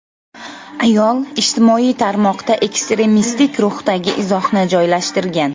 Ayol ijtimoiy tarmoqda ekstremistik ruhdagi izohni joylashtirgan.